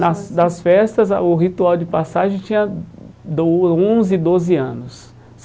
Nas das festas, a o ritual de passagem tinha do onze doze anos.